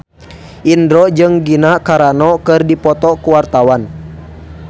Indro jeung Gina Carano keur dipoto ku wartawan